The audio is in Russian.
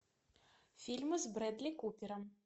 фильмы с брэдли купером